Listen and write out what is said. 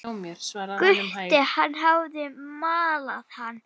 Gutta, hann hafði malað hann.